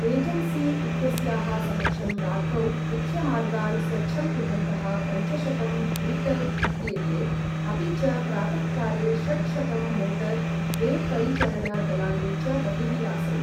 Agency इत्यस्याः समक्षं रात्रौ मुख्यमार्गान् स्वच्छं कुर्वन्तः पञ्चशतं ग्रिटर् इत्येते अपि च प्रातःकाले षट्शतं मोटर् वे परिचरण दलानि च बहिः आसन्।